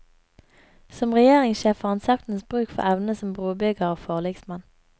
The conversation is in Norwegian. Som regjeringssjef får han saktens bruk for evnene som brobygger og forliksmann.